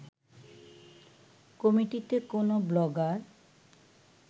কমিটিতে কোনো ব্লগার